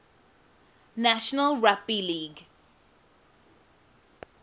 national rugby league